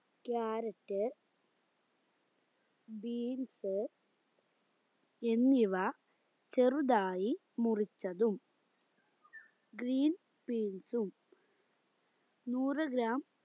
carrot beans എന്നിവ ചെറുതായി മുറിച്ചതും green peas ഉം നൂറ് gram